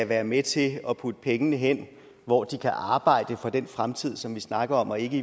være med til at putte pengene hen hvor de kan arbejde for den fremtid som vi snakker om og ikke